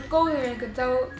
góður við einhvern þá